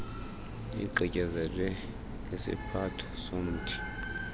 igqityezelwe ngesiphatho somthi